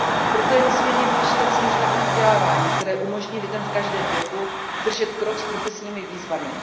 Proto je nesmírně důležité celoživotní vzdělávání, které umožní lidem v každém věku držet krok s profesními výzvami.